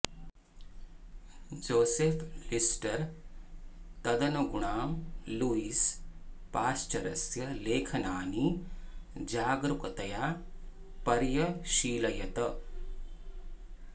Joseph Lister तदनुगुणं Louis पाश्चरस्य लेखनानि जागरूकतया पर्यशीलयत्